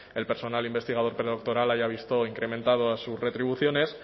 el personal investigador predoctoral haya visto incrementados sus retribuciones